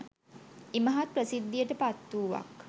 ඉමහත් ප්‍රසිද්ධියට පත් වූවක්.